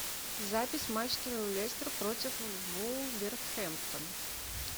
запись матча лестер против вулверхэмптон